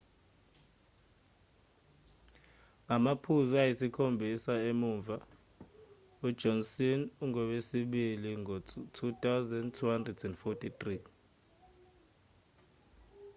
ngamaphuzu ayisikhombisa emuva ujohnson ungowesibili ngo-2,243